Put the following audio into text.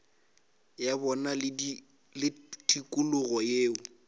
ya bona le tikologo yeo